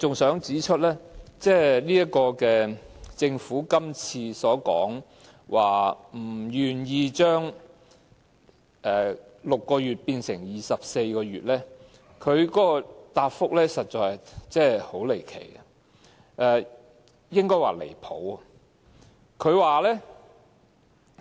另一方面，對於政府不肯將檢控限期由6個月延長至24個月，局長的答覆實在很離奇，應該說十分離譜。